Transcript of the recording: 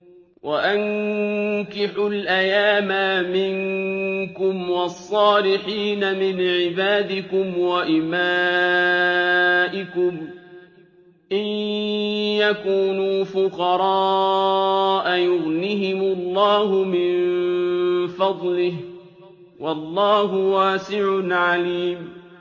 وَأَنكِحُوا الْأَيَامَىٰ مِنكُمْ وَالصَّالِحِينَ مِنْ عِبَادِكُمْ وَإِمَائِكُمْ ۚ إِن يَكُونُوا فُقَرَاءَ يُغْنِهِمُ اللَّهُ مِن فَضْلِهِ ۗ وَاللَّهُ وَاسِعٌ عَلِيمٌ